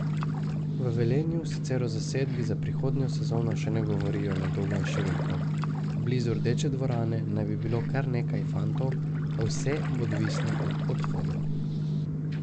V Velenju sicer o zasedbi za prihodnjo sezono še ne govorijo na dolgo in široko, blizu Rdeče dvorane naj bi bilo kar nekaj fantov, a vse bo odvisno od odhodov.